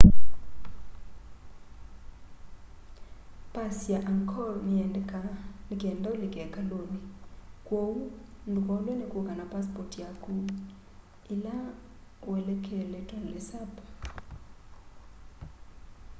pass ya angkor niyendekaa nikenda ulike ikaluni kwoou ndukolwe ni kuka na pasipoti yaku ila uelekele tonle sap